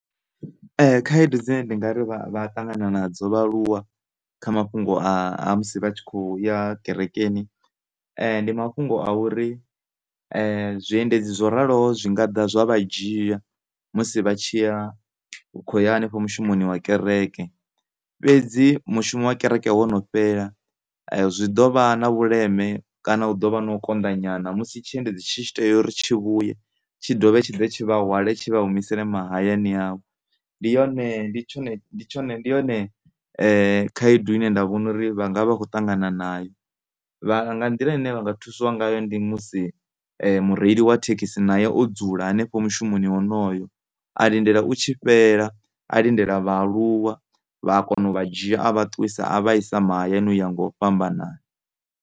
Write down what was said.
Khaedu dzine ndi ngari vha a ṱangana nadzo vhaaluwa kha mafhungo a musi vha tshi khoya kerekeni ndi mafhungo a uri zwiendedzi zwo raloho zwi nga ḓa zwa vha dzhia, musi vha tshi kho ya hanefho mushumoni wa kereke. Fhedzi mushumo wa kereke wo no fhela zwi ḓovha na vhuleme kana hu ḓovha na u konḓa nyana musi tshiendedzi tshi tshi tea uri tshi vhuye tshi ḓe tshi vha hwale tshi vha humisele mahayani avho. Ndi yone, ndi tshone, ndi yone khaedu ine nda vhona uri vha ngavha vha kho ṱangana nayo, mara nga nḓila ine nda vhona uri mureili wa thekhisi nae o dzula hanefho mushumoni wonoyo a lindela u tshi fhela a lindela vhaaluwa vha kona u vha dzhia a vha isa mahayani u ya nga u fhambanana.